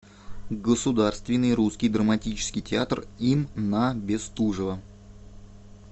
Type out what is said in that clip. государственный русский драматический театр им на бестужева